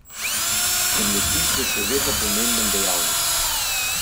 Zemljepis je še vedno pomemben dejavnik.